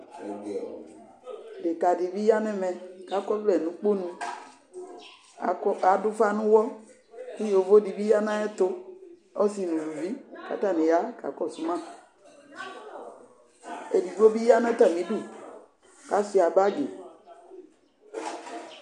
Deka dibi ya nɛmɛ kakɔvlɛ nukponu, adufa nuwɔ ku yovo dibi ya nu ayɛtu, ɔsi nu uluvi kakɔsu ma Edigbo biya natamidu kasuiya bagi